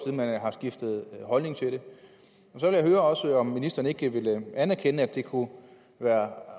man har skiftet holdning til det så vil jeg også høre om ministeren ikke vil anerkende at det kunne være